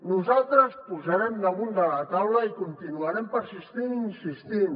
nosaltres ho posarem damunt de la taula i hi continuarem persistint i insistint